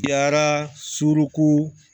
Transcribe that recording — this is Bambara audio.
Yara suruku